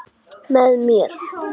Með mér.